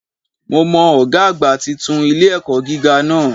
Mo mọ Ògá àgbà titun ilé-ẹ̀kọ́ gíga náà